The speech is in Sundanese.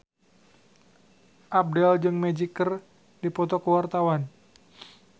Abdel jeung Magic keur dipoto ku wartawan